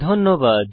ধন্যবাদ